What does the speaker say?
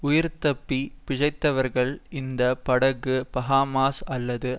உயிர்தப்பிப் பிழைத்தவர்கள் இந்த படகு பஹாமாஸ் அல்லது